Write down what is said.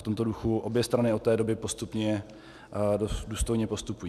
V tomto duchu obě strany od té doby postupně důstojně postupují.